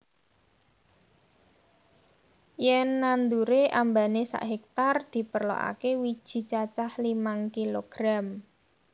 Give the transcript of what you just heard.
Yen nandure ambane sak hektar diperlokake wiji cacah limang kilogram